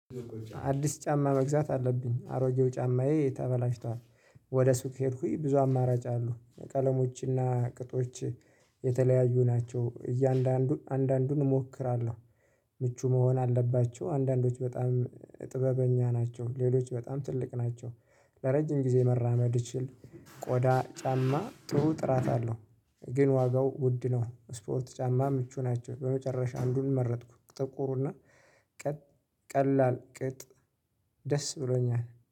አዲስ ጫማ መግዛት አለብኝ አሮጌው ጫማዬ ተበላሽቷል። ወደ ሱቅ ሄድኩኝ ብዙ አማራጭ አሉ ቀለሞች እና ቅጦች የተለያዩ ናቸው እያንዳንዱን አንዳንዱን እሞክራለሁ። ምቹ መሆን አለባቸው አንዳንዶች በጣም ጥበበኛ ናቸው ሌሎች በጣም ትልቅ ናቸው። ለረጅም ጊዜ መራመድ እችል ቆዳ ጫማ ጥሩ ጥራት አለው። ግን ዋጋው ውድ ነው። ስፖርት ጫማ ምቹ ናቸው በመጨረሻ አንዱን መረጥኩ ጥቁሩ እና ቀ ቀላል ቅጥ ደስ ብሎኛል